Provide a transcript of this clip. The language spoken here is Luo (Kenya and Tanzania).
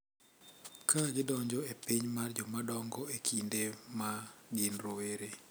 Ka gidonjo e piny mar jomadongo e kinde ma gin rowere,